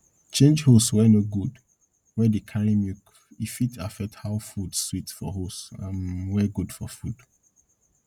change hose wey no good wey dey carry milk e fit affect how food sweet for hose um wey good for food